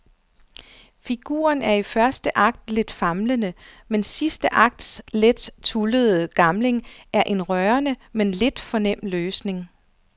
Figuren er i første akt lidt famlende, mens sidste akts let tullede gamling er en rørende men lidt for nem løsning.